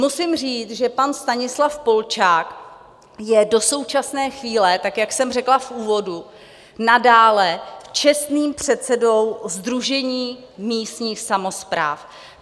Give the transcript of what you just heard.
Musím říct, že pan Stanislav Polčák je do současné chvíle, tak jak jsem řekla v úvodu, nadále čestným předsedou Sdružení místních samospráv.